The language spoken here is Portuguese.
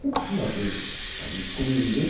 Sempre tinha alguém. Mas uns, como ninguém